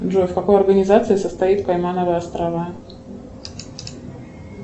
джой в какой организации состоит каймановы острова